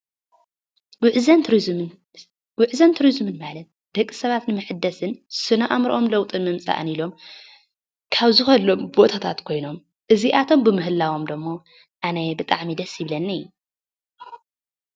ጉዕዞ ቱሪዝም ናይ ደቂ ሰባት መሐደስን ናይ ስነ ኣእምሮኦም ለዉጢ ንምምፃእን ኢሎም ካብ ዝኸድሎም ቦታታት ኮይኖም እዚኣቶም ብምህላዎም ድማ ኣነ ብጣዕሚ ደስ ይብለኒ::